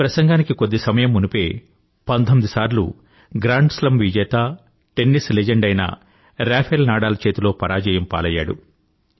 ఈ ప్రసంగానికి కొద్ది సమయం మునుపే 19 సార్లు గ్రాండ్ స్లామ్ విజేత టెన్నిస్ లెజెండ్ అయిన రఫేల్ నడాల్ చేతిలో పరాజయం పాలైయ్యాడు